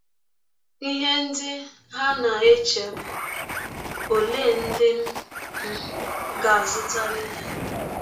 Ihe ndị ha na - eche bụ: ‘ Ọlee ndị m um ga - azụtara ihe?